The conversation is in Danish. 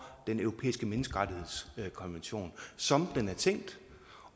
den europæiske menneskerettighedskonvention som den er tænkt